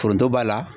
Foronto b'a la